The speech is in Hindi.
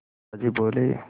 दादाजी बोले